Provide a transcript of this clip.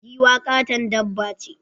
Giwa katon dabba ce.